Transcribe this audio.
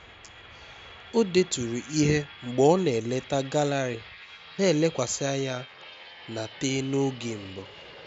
o deturu ihe mgbe ọ na-eleta gallery na-elekwasị anya na te n'oge mbụ